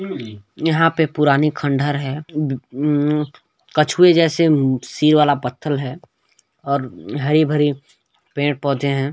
यहाँ पे पुरानी खंडर है ब उम कछुए जैसा ऊ-ऊ सिर वाला पत्थर है और हरी-भरी पेड़-पौधे है।